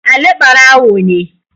Ali barawo ne